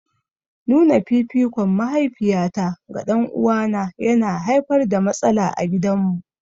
Nuna fifikon mahaifiyata ga ɗan'uwana yana haifar da matsala a gidanmu.